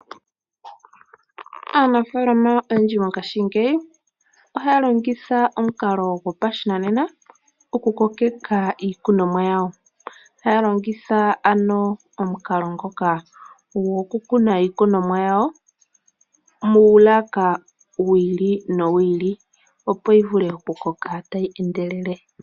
Aanafaalama oyendji mongashingeyi ohaya longitha omukalo gopashinanena okukokeka iikunomwa yawo. Ohaya longitha omukalo gokukuna iikunomwa yawo muulaka wiili nowiili opo yivule okukoka tayi endelele.